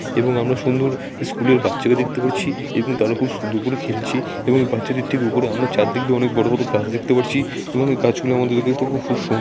এবং আমরা সুউন্দর স্কুলের বাচ্চাকে দেখতে পারছি এবং তারা খুব সুউন্দর করে খেলছে এবং বাচ্চাদের ঠিক উপরে আমরা চারদিক দিয়ে অনেক বড় বড় গাছ দেখতে পারছি এবং এই গাছগুলো আমাদেরকে দেখতে খুব সুগ সুন--